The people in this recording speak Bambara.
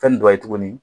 Fɛn dɔ ye tuguni